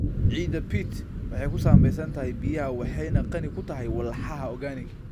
Ciidda peat waxay ku sameysan tahay biyaha waxayna qani ku tahay walxaha organic.